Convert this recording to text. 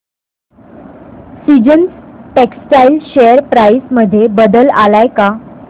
seasons textile share price मध्ये बदल आलाय का